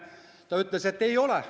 Ta ütles, et ei ole.